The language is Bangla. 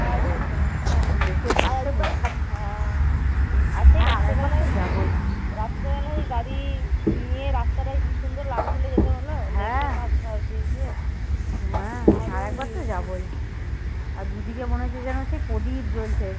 আর দুদিকে মনে হচ্ছে যেন সেই প্রদীপ জ্বলছে